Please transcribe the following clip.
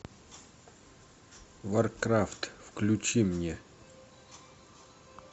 варкрафт включи мне